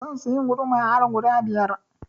Zan siya guduma har guda biyar.